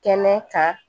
Kɛnɛ kan